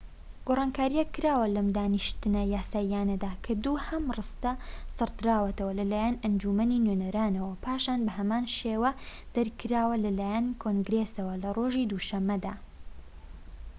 گۆڕانکاریەک کراوە لەم دانیشتنە یاسادانانیەدا کە دووهەم ڕستە سڕدراوەتەوە لەلایەن ئەنجومەنی نوێنەرانەوە و پاشان بە هەمان شێوە دەرکراوە لەلایەن کۆنگرێسەوە لە ڕۆژی دووشەمەدا